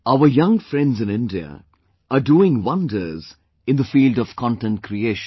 Our young friends in India are doing wonders in the field of content creation